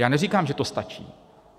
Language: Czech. Já neříkám, že to stačí.